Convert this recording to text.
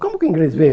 Como que o Inglês vê?